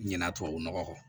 Ɲinan tubabu nɔgɔ kɔ